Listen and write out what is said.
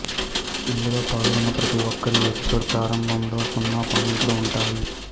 ఇందులో పాల్గొన్న ప్రతిఒక్కరికి ఎపిసోడ్ ప్రారంభంలో సున్నా పాయింట్లు ఉంటాయి